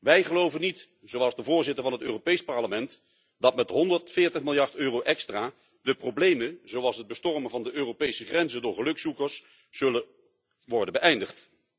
Wij geloven niet, zoals de voorzitter van het Europees Parlement, dat met 140 miljard EUR extra de problemen, zoals het bestormen van de Europese grenzen door gelukzoekers, zullen worden beëindigd.